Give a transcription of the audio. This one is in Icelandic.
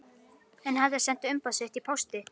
Hann hafði sent umboð sitt í pósti